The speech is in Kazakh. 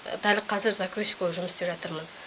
дәл қазір закройщик болып жұмыс істеп жатырмын